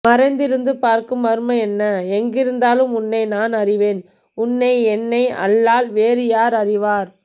மறைந்திருந்து பார்க்கும் மர்மம் என்ன எங்கிருந்தாலும் உன்னை நான் அறிவேன் உன்னை என்னை அல்லால் வேறு யார் அறிவார்